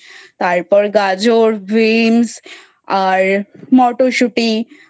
তারপর গাজর bean আর মটরশুটি,